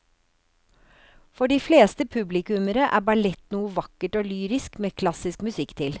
For de fleste publikummere er ballett noe vakkert og lyrisk med klassisk musikk til.